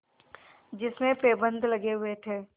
जिसमें पैबंद लगे हुए थे